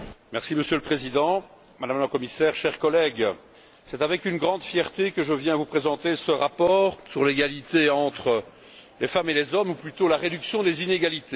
Monsieur le Président, Madame la Commissaire, chers collègues, c'est avec une grande fierté que je viens vous présenter ce rapport sur l'égalité entre les femmes et les hommes, ou plutôt, la réduction des inégalités.